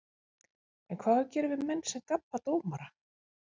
En hvað á að gera við menn sem gabba dómara?